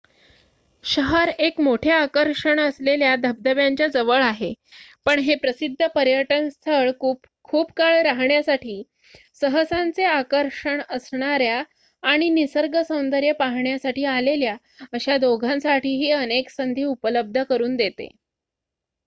शहर एक मोठे आकर्षण असलेल्या धबधब्यांच्या जवळ आहे पण हे प्रसिद्ध पर्यटन स्थळ खूप काळ राहण्यासाठी सहसांचे आकर्षण असणाऱ्या आणि निसर्ग सौंदर्य पाहण्याकरिता आलेल्या अशा दोघांसाठीही अनेक संधी उपलब्ध करून देते